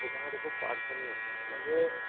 त्याच्यामध्ये खूप अडचणी आहेत म्हणजे